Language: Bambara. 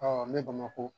ne bamakɔ